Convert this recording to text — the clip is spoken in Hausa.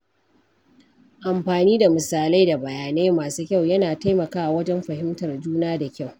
Amfani da misalai da bayanai masu kyau yana taimakawa wajen fahimtar juna da kyau.